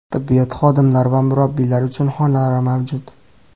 Tibbiyot xodimlari va murabbiylar uchun xonalar mavjud.